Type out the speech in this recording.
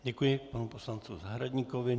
Děkuji panu poslanci Zahradníkovi.